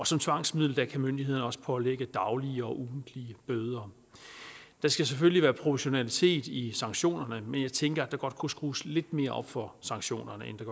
som tvangsmiddel kan myndighederne også pålægge daglige og ugentlige bøder der skal selvfølgelig være proportionalitet i sanktionerne men jeg tænker at der godt kunne skrues lidt mere op for sanktionerne end